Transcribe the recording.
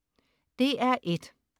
DR1: